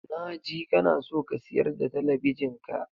Na ji kana son ka siyar da talabijin ka.